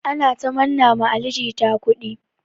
Ana ta manna ma Ali jita kudi.